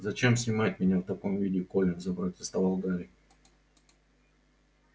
зачем снимать меня в таком виде колин запротестовал гарри